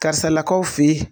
Karisalakaw fe ye